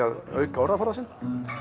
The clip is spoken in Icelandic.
að auka orðaforða sinn